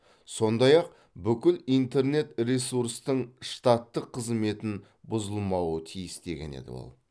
сондай ақ бүкіл интернет ресурстың штаттық қызметін бұзылмауы тиіс деген еді ол